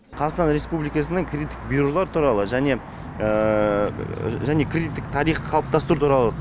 қазақстан республикасының кредиттік бюролар туралы және және кредиттік тарихты қалыптастыру туралы